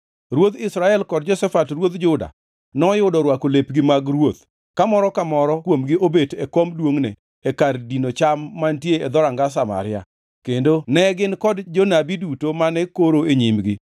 Ruodh Israel kod Jehoshafat ruodh Juda noyudo orwako lepgi mag ruoth ka moro ka moro kuomgi obet e kom duongʼne e kar dino cham mantie e dhoranga Samaria, kendo ne gin kod jonabi duto mane koro e nyimgi.